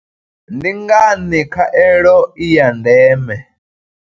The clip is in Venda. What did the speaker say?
Ndi ngani khaelo i ya ndeme?